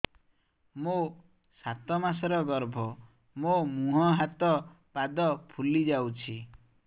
ମୋ ସାତ ମାସର ଗର୍ଭ ମୋ ମୁହଁ ହାତ ପାଦ ଫୁଲି ଯାଉଛି